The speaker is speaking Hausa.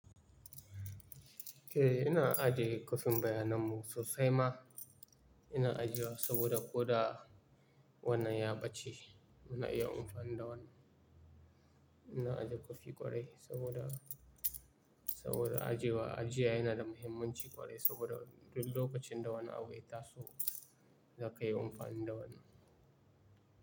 Eh, ina ajiye kwafin bayanan mu sosai ma. Ina ajiye wa saboda ko da wannan ya ɓace muna iya amfani da wanni. Ina ajiye kwafi ƙwarai saboda, saboda ajiyewa, ajiya yana da muhimmanci ƙwarai saboda duk lokacin da wani abu ya taso za ka yi amfani da wannan.